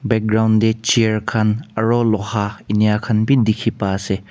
background tae chair khan aro loha ena khan bi dikhipa ase.